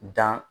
Dan